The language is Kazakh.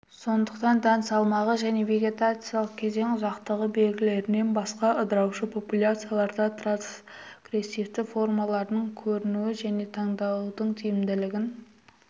сондықтан дән салмағы және вегетациялық кезең ұзақтығы белгілерінен басқа ыдыраушы популяцияларда трансгрессивті формалардың көрінуі және таңдаудың тиімділігін